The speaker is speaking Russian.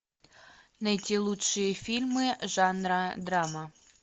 найти лучшие фильмы жанра драма